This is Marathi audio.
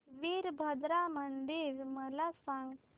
वीरभद्रा मंदिर मला सांग